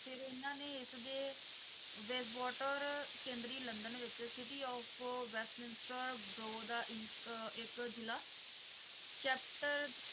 ਉਹਨਾਂ ਨੇ ਏਸ ਦੇ ਵੈੱਬਵਾਟਰ ਕੇਂਦਰੀ ਲੰਡਨ ਵਿੱਚ cityof ਵੈਸਟਮਿੰਸਟਰ ਬੋਰੋਗ ਦਾ ਇੰਕ, ਇੱਕ ਜ਼ਿਲ੍ਹਾ chapter